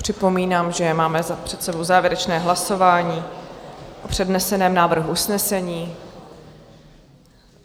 Připomínám, že máme před sebou závěrečné hlasování o předneseném návrhu usnesení.